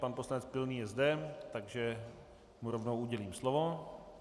Pan poslanec Pilný je zde, takže mu rovnou udělím slovo.